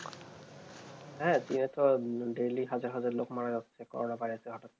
হ্যাঁ চীনে তো daily হাজার হাজার লোক মারা যাচ্ছে, corona virus